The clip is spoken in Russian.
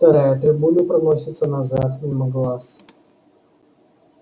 вторая трибуна проносится назад мимо глаз